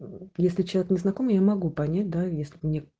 если чат не знакомый я могу понять да если мне